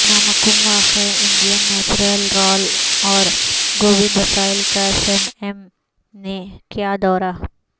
نامکوم واقع Indian natural رال اور گوند وسائل کا سیم ایم نے کیادورہ